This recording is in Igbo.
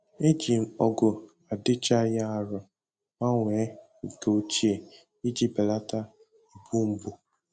Eji m ọgụ adịchaghị arọ gbanwee nke ochie iji belata igbu mgbu